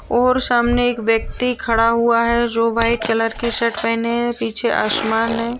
और सामने एक व्यक्ति खड़ा हुआ है जो वाइट कलर की शर्ट पहने है पीछे आसमान है।